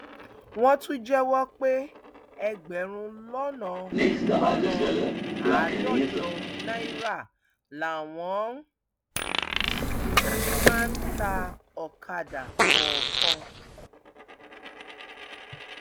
wọn tún jẹwọ pé ẹgbẹrún lọnà lọnà àádọjọ náírà làwọn máa ń ta ọkadà kọọkan